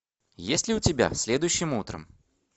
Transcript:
есть ли у тебя следующим утром